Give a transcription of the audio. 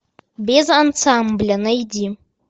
без ансамбля найди